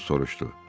Axto soruşdu.